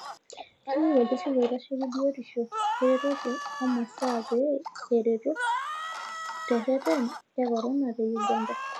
Keyieu ololturur oitasheki biotisho eretoto oo masaa pee erotoo tereten e korona te Uganda.